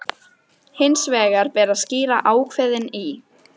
Hins vegar ber að skýra ákvæðin í